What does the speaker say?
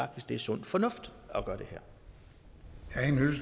det er sund fornuft at gøre